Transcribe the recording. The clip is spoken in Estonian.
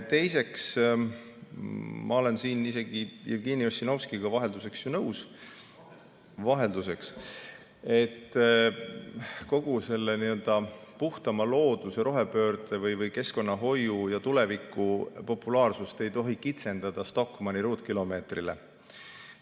Teiseks, ma olen siin isegi Jevgeni Ossinovskiga vahelduseks nõus – vahelduseks –, et kogu selle nii‑öelda puhtama looduse, rohepöörde või keskkonnahoiu ja tuleviku populaarsust ei tohi kitsendada Stockmanni ruutkilomeetrile.